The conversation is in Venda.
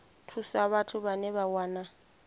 thusa vhathu vhane vha wana